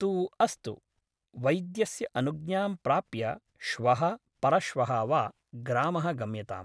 तु अस्तु , वैद्यस्य अनुज्ञां प्राप्य श्वः परश्वः वा ग्रामः गम्यताम् ।